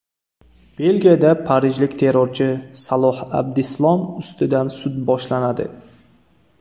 Belgiyada parijlik terrorchi Saloh Abdislom ustidan sud boshlanadi.